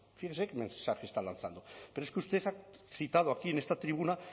fíjese qué mensaje está lanzando pero es que usted ha citado aquí en esta tribuna